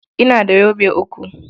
Ina da yobe uku.